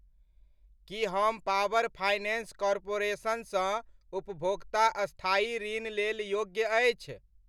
की हम power finance corporation सँ उपभोक्ता स्थायी ऋण लेल योग्य अछि?